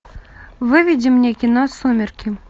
выведи мне кино сумерки